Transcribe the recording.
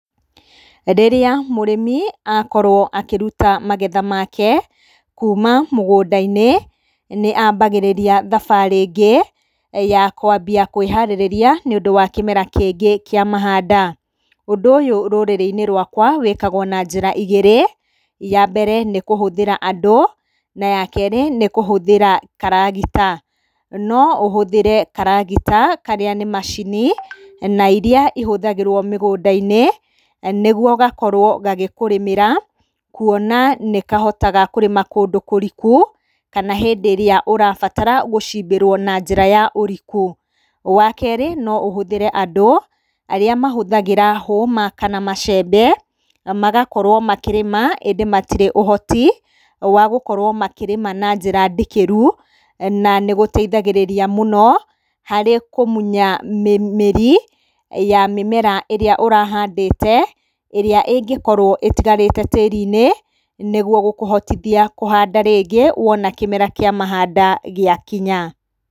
Hĩndĩ ĩrĩa mũrĩmi akorwo akĩruta magetha make kuuma mũgũnda-inĩ, nĩ ambagĩrĩria thabarĩ ĩngĩ ya kwambia kwĩharĩrĩria nĩũndũ wa kĩmera kĩngĩ kĩa mahanda. Ũndũ ũyũ rũrĩrĩ-inĩ rũakwa wĩkagwo na njĩra igĩrĩ, ya mbere nĩ kũhũthĩra andũ na ya kerĩ nĩ kũhũthĩra karagita. No ũhũthĩre karagita karĩa nĩ macini na iria ihũthagĩrwo mĩgũnda-inĩ nĩguo gakorwo ga gĩkũrĩmĩra kuona nĩ kahotaga kũrĩma kũndũ kũriku kana hĩndĩ ĩrĩa ũrabatara gũcimbĩrwo na njĩra ya ũriku. Wa kerĩ nó ũhũthĩre andũ arĩa mahũthagĩra hũma kana macembe magakorwo makĩrĩma, ĩndĩ matirĩ ũhoti wa gũkorwo makĩrĩma na njĩra ndikĩru na nĩgũteithagĩrĩria mũno harĩ kũmunya mĩri ya mĩmera ĩrĩa ũrahandĩte ĩrĩa ĩngĩkorwo ĩtigarĩte tĩrinĩ nĩguo gũkũhotithia kũhanda rĩngĩ wona kĩmera kĩa mahanda gĩa kinya.